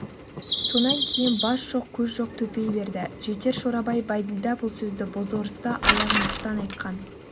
сонан кейін бас жоқ көз жоқ төпей берді жетер шорабай бәйділда бұл сөзді бозорысты аяғандықтан айтқан